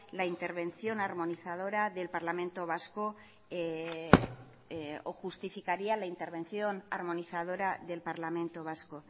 la intervención armonizadora del parlamento vasco o justificaría la intervención armonizadora del parlamento vasco